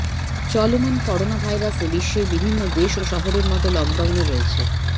চলমান করোনা ভাইরাসে বিশ্বের বিভিন্ন দেশ ও শহরের মতো লকডাউনে রয়েছে